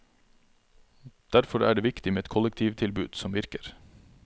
Derfor er det viktig med et kollektivtilbud som virker.